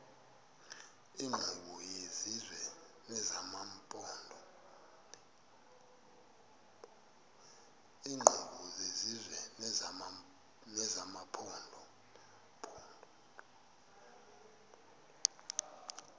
iinkqubo zesizwe nezamaphondo